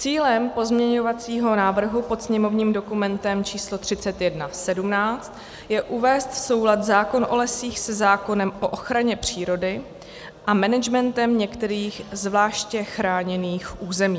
Cílem pozměňovacího návrhu pod sněmovním dokumentem číslo 3117 je uvést v soulad zákon o lesích se zákonem o ochraně přírody a managementem některých zvláště chráněných území.